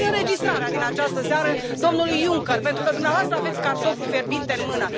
Dați înregistrarea din această seară domnului Juncker, pentru că dumneavoastră aveți cartoful fierbinte în mână.